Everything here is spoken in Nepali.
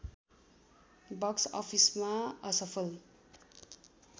बक्स अफिसमा असफल